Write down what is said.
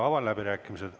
Avan läbirääkimised.